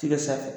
Tigɛ sanfɛ